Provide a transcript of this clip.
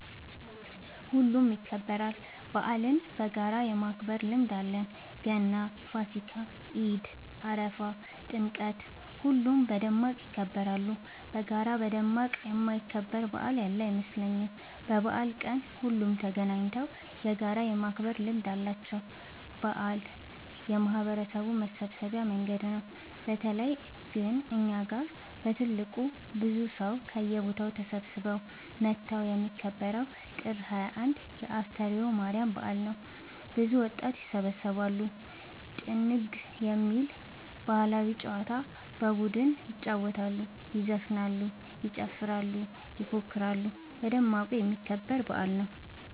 ሁሉም ይከበራል። በአልን በጋራ የማክበር ልምድ አለን ገና ፋሲካ ኢድ አረፋ ጥምቀት ሁሉም በደማቅ ይከበራሉ። በጋራ በደማቅ የማይከበር በአል ያለ አይመስለኝም። በበአል ቀን ሁሉም ተገናኘተው በጋራ የማክበር ልምድ አለ። በአል የማህበረሰቡ መሰብሰቢያ መንገድ ነው። በተለይ ግን እኛ ጋ በትልቁ ብዙ ሰው ከየቦታው ተሰብስበው መተው የሚከበረው ጥር 21 የ አስተርዮ ማርያም በአል ነው። ብዙ ወጣት ይሰባሰባሉ። ጥንግ የሚባል ባህላዊ ጨዋታ በቡድን ይጫወታሉ ይዘፍናሉ ይጨፍራሉ ይፎክራሉ በደማቁ የሚከበር በአል ነው።